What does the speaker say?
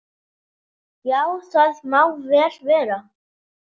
Já, það má vel vera.